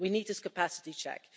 We need this capacity check.